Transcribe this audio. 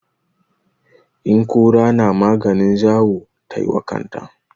In kura na maganin zawo tai wa kanta.